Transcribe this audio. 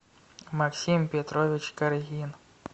максим петрович каргин